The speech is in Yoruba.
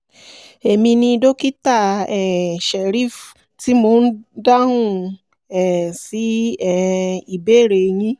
emi ni dókítà um shareef tí mò ń dáhùn um sí um ìbéèrè yín